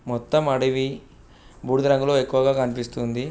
మొత్తం అడవి బూడిదరంగులో ఎక్కువగా కనిపిస్తుంది.